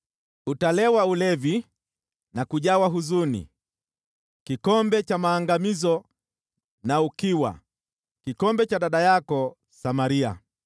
Utalewa ulevi na kujawa huzuni, kikombe cha maangamizo na ukiwa, kikombe cha dada yako Samaria.